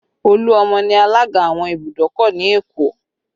Oluomo ni alaga àwọn ìbùdókọ̀ ni Èkó